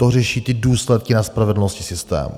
To řeší ty důsledky na spravedlnosti systému.